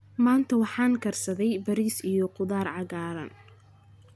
Maanta waxaan karsaday bariis iyo khudaar cagaaran.